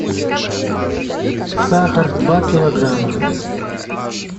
сахар два килограмма